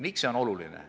Miks see on oluline?